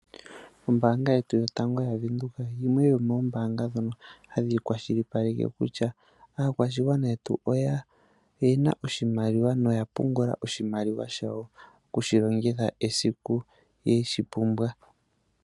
Ombaanga yetu yotango yaWindhoek, yimwe yomoombaanga ndhono ha dhi kwashilipaleke kutya aakwashigwana yetu oye na oshimaliwa no ya pungula oshimaliwa shawo, oku shi longitha esiku ye shi pumbwa.